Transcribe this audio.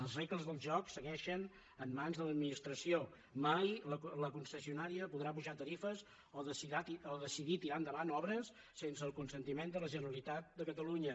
les regles del joc segueixen en mans de l’administració mai la concessionària podrà apujar tarifes o decidir tirar endavant obres sense el consentiment de la generalitat de catalunya